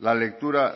la lectura